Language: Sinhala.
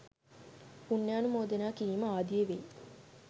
පුණ්‍යානුමෝදනා කිරීම ආදිය වෙයි.